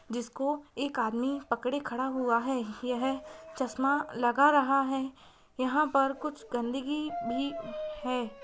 जिसको एक आदमी पड़े खड़ा हुआ है यह चश्मा लग रहा है यहां पर कुछ गंदगी भ है।